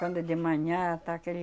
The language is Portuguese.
Quando é de manhã, tá aquele...